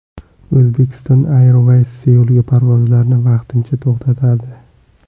Uzbekistan Airways Seulga parvozlarni vaqtincha to‘xtatadi.